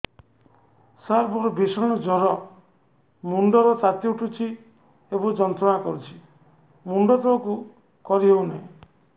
ସାର ମୋର ଭୀଷଣ ଜ୍ଵର ମୁଣ୍ଡ ର ତାତି ଉଠୁଛି ଏବଂ ଯନ୍ତ୍ରଣା କରୁଛି ମୁଣ୍ଡ ତଳକୁ କରି ହେଉନାହିଁ